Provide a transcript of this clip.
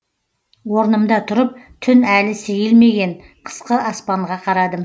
орнымда тұрып түн әлі сейілмеген қысқы аспанға қарадым